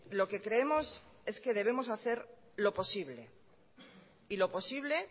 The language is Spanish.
lo que creemos es que debemos hacer lo posible y lo posible